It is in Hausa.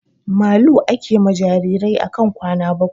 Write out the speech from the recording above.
Malu ake ma jirajirai akan kwana bakwai